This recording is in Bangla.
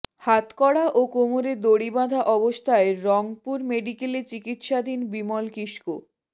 হাতকড়া ও কোমরে দড়ি বাঁধা অবস্থায় রংপুর মেডিকেলে চিকিৎসাধীন বিমল কিসকো